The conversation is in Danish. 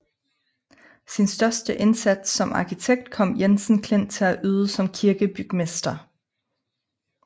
Sin største indsats som arkitekt kom Jensen Klint til at yde som kirkebygmester